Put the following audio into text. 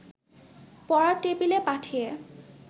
পড়ার টেবিলে পাঠিয়ে